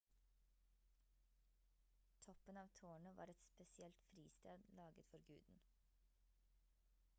toppen av tårnet var et spesielt fristed laget for guden